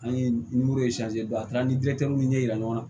An ye don a kɛra ni ɲɛ yira ɲɔgɔn na